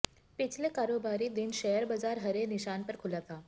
पिछले कारोबारी दिन शेयर बाजार हरे निशान पर खुला था